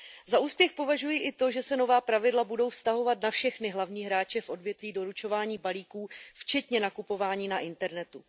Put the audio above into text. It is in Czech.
Za úspěch považuji i to, že se nová pravidla budou vztahovat na všechny hlavní hráče v odvětví doručování balíků, včetně nakupování na internetu.